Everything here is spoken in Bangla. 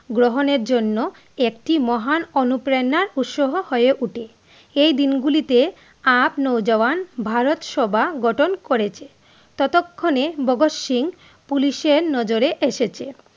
গ্রহনের জন্য একটি মহান অনুপ্রেরণার উৎস হয়ে উঠে এই দিনগুলোতে আপ নব জবান ভারত সভা গঠন করেছে ততক্ষণ এ ভাগত সিং পুলিশের নজরে এসেছে